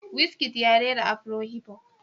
Wizkid ya rera Afro-hiphop